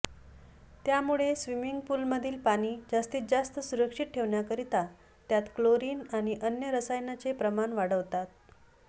त्यामुळे स्वीमिंग पूलमधील पाणी जास्तीत जास्त सुरक्षित ठेवण्याकरता त्यात क्लोरिन आणि अन्य रसायनांचे प्रमाण वाढवतात